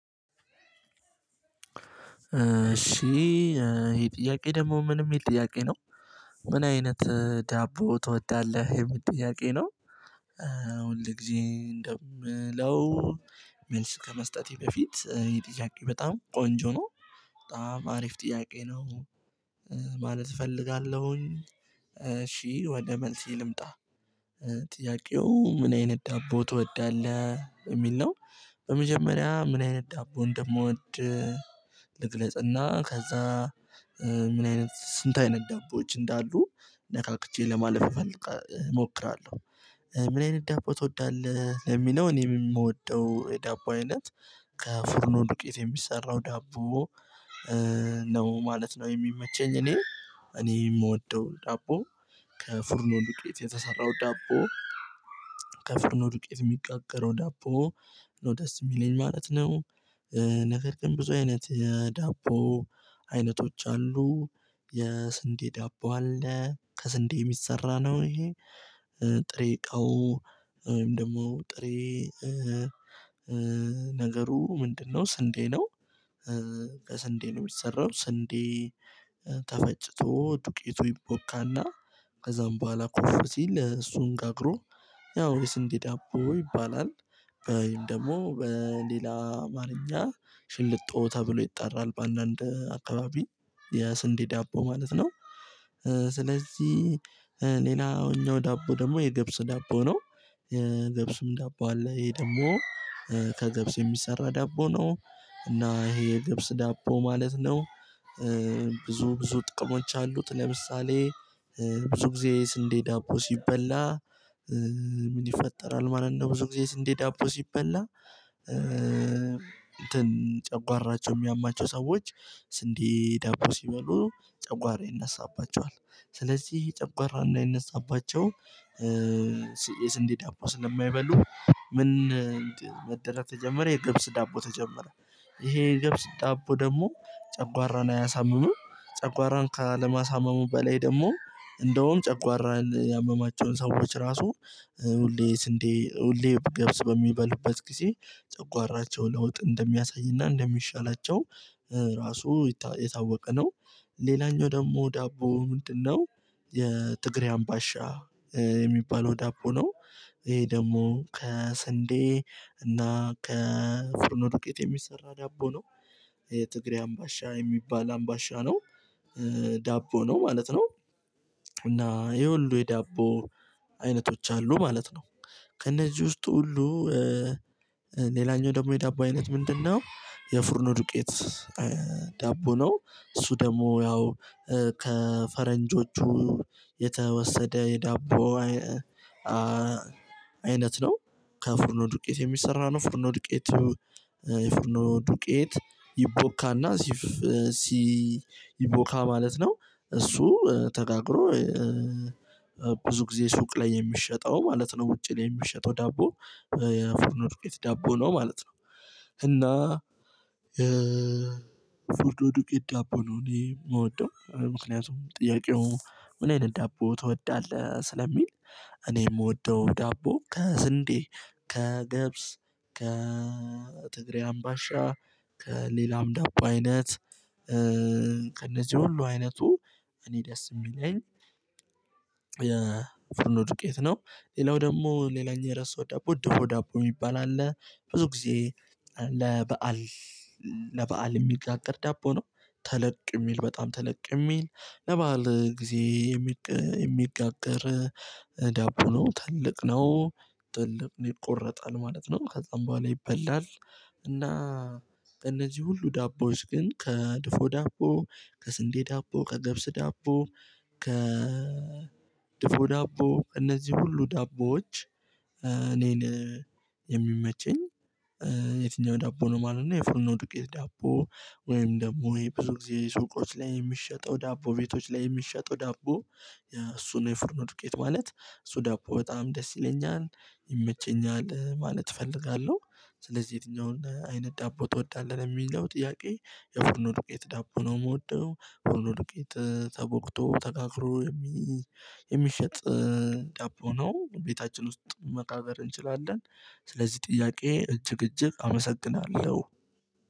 እሺ ይሄ ጥያቄ ደግሞ ምን የሚል ጥያቄ ነው? ምን አይነት ዳቦ ትወዳለህ የምል ጥያቂ ነው? አሁን ለግዜ እንደምለው መልስ ከመስጠቴ በፊት የጥያቄ በጣም ቆንጆ ነው። በጣም አሪፍ ጥያቄ ነው። ማለት እፈልጋለሁኝ። እሺ ወደ መልሴ ልምጣ። ጥያቄው ምን አይነት ዳቦ ትወዳለህ የሚል ነው። በመጀመሪያ ምን አይነት ዳቦ እንደምወድ ልግለጽና ከዛ ምን አይነት ስንት አይነት ዳቦዎች እንዳሉ ነካክቼ ለማለፍ እሞክራለሁ። ምን አይነት ዳቦ ትወዳለህ ለሚለው እኔ የምወደው የዳቦ አይነት ከፍርኑ ዱቄት የሚሰራው ዳቦ። ነው ማለት ነው የሚመቸኝ። እኔ እኔ የምወደው ዳቦ ከፍርኖ ዱቄት የተሰራው ዳቦ። ከፍርኖ ነው ዱቄት የሚጋገረው ዳቦ ነው ደስ የሚለኝ ማለት ነው። ነገር ግን ብዙ አይነት የዳቦ አይነቶች አሉ። የስንዴ ዳቦ አለ ከስንዴ የሚሰራ ነው ይሄ? ጥሬ እቃው ወይም ደግሞ ጥሬ ነገሩ ምንድነው ስንዴ ነው። ከስንዴ ነው የሚሰራው ስንዴ ተፈጭቶ ዱቄቱ ይቦካና። ከዛም በኋላ ኮፍ ሲል እሱን ጋግሮ ያው የስንዴ ዳቦ ይባላል። ወይም ደግሞ በሌላ አማርኛ ሽልጦ ተብሎ ይጣራል በአንዳንድ አካባቢ የስንዴ ዳቦ ማለት ነው። ስለዚህ ሌላኛው ዳቦ ደግሞ የግብስ ዳቦ ነው። ገብሱም ዳቦ አለ ይሄ ደግሞ ከገብስ የሚሰራ ዳቦ ነው እና ይሄ የገብስ ዳቦ ማለት ነው። ብዙ ብዙ ጥቅሞች አሉት ለምሳሌ ብዙ ጊዜ ስንዴ ዳቦ ሲበላ። ምን ይፈጠራል ማለት ነው። ብዙ ጊዜ የስንዴ ዳቦ ሲበላ እንትን ጨጓራቸው የሚያማቸው ሰዎች ስንዴ ዳቦ ሲበሉ ጨጓራ ይነሳባቸዋል። ስለዚህ ጨጕራ እንዳይነሳባቸው የስንዴ ዳቦ ስለማይበሉ ምን መደራግ ተጀመረ የገብስ ዳቦ ተጀመረ። ይሄ የገብስ ዳቦ ደግሞ ጨጓራን አያሳምም ጨጕራን ካለማሳመሙ በላይ ደግሞ እንደውም ጨጕራን ያመማቸውን ሰዎች ራሱ ሁሌ ስንዴ ሁሌ ገብስ በሚበሉበት ጊዜ ጨጓራቸው ለውጥ እንደሚያሳይና እንደሚሻላቸው። ራሱ የታወቀ ነው። ሌላኛው ደግሞ ዳቦ ምንድነው? የትግሬ አምባሻ የሚባለው ዳቦ ነው። ይሄ ደግሞ ከስንዴ እና ከፍርኖ ዱቄት የሚሰራ ዳቦ ነው። የትግሬ አምባሻ የሚባል አምባሻ ነው። ዳቦ ነው ማለት ነው። እና ይሄ ሁሉ የዳቦ አይነቶች አሉ ማለት ነው። ከእነዚህ ውስጥ ሁሉ ሌላኛው ደግሞ የዳቦ አይነት ምንድነው? የፉርኖ ዱቄት ዳቦ ነው እሱ ደግሞ ያው ከፈረንጆቹ የተወሰደ የዳቦ አይነት ነው። ከፉርኖ ዱቄት የሚሰራ ነው ፉርኖ ዱቄቱ የፍርኖ ዱቄት ይቦካና። ሲቦካ ማለት ነው እሱ ተጋግሮ ብዙ ጊዜ ሱቅ ላይ የሚሸጠው ማለት ነው ውጭ ላይ የሚሸጠው ዳቦ። የፎርኖ ዱቄት ዳቦ ነው ማለት ነው። እና የፍርኖ ዱቄት ዳቦ ነው እኔ የምወደው ምክንያቱም ጥያቄው ምን አይነት ዳቦ ትወዳለህ ስለሚል። እኔ የምወደው ዳቦ ከስንዴ ከገብስ ከ ከትግሬ አምባሻ ከሌላም ዳቦ አይነት። ከእነዚህ ሁሉ አይነቱ እኔ ደስ የሚለኝ የፍርኖ ዱቄት ነው። ሌላው ደግሞ ሌላኛው የረሳሁት ደቦ ድፎ ደቦ የሚባል አለ። ብዙ ጊዜ ለበአል ለበአል የሚጋገር ዳቦ ነው። ተለቅ የሚል በጣም ተለቅ የሚል ለበአል ጊዜ የሚጋገር ዳቦ ነው ትልቅ ነው። ትልቅ ይቆረጣል ማለት ነው ከዛም በኋላ ይበላል። እና እነዚህ ሁሉ ዳቦዎች ግን ከድፎ ዳቦ ከስንዴ ዳቦ ከገብስ ዳቦ ከ ድፎ ዳቦ እነዚህ ሁሉ ዳቦዎች። እኔን የሚመችኝ የትኛው ዳቦ ነው ማለት ነው። የፉርኖ ዱቄት ዳቦ ወይም ደግሞ ብዙ ጊዜ ሱቆች ላይ የሚሸጠው ዳቦ ቤቶች ላይ የሚሸጠው ዳቦ። እሱ ነው የፍርኖ ዱቄት ማለት እሱ ዳቦ በጣም ደስ ይለኛል ይመቸኛል ማለት እፈልጋለሁ። ስለዚህ የትኛውን አይነት ዳቦ ትወዳለህ የሚለው ጥያቄ የፉርኖ ዱቄት ዳቦ ነው የምወደው ፉርኖ ዱቄት ተቦክቶ ተጋግሮ የሚሸጥ ዳቦ ነው። ቤታችን ውስጥ መጋገር እንችላለን። ስለዚህ ጥያቄ እጅግ እጅግ አመሰግናለሁ።